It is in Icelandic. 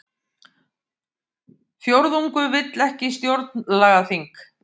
Fjórðungur vill ekki stjórnlagaþing